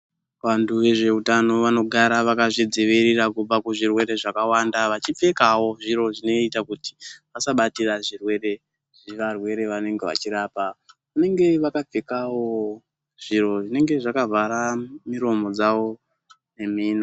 Vantu vezveutano vanogara vakazvidzivirira kubva kuzvirwere zvakawanda vachipfekawo zviro zvinoita kuti vasabatira zvirwere zvevarwere vanenge vachirapa vanenge vakapfekawo zviro zvinenge zvakavhara miromo dzawo nemino.